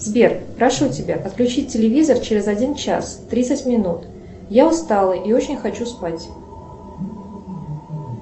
сбер прошу тебя отключить телевизор через один час тридцать минут я устала и очень хочу спать